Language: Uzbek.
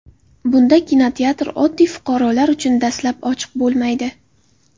Bunda kinoteatr oddiy fuqarolar uchun dastlab ochiq bo‘lmaydi.